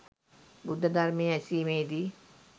බුද්ධ ධර්මය ඇසීමේදී